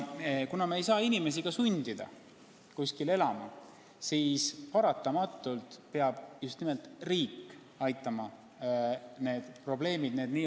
Kuna me ei saa inimesi ka sundida kuskil elama, siis paratamatult peab just nimelt riik aitama need probleemid lahendada.